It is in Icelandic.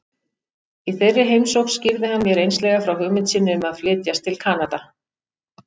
Í þeirri heimsókn skýrði hann mér einslega frá hugmynd sinni um að flytjast til Kanada.